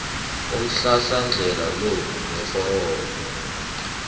umhlahlandlela lo neforomo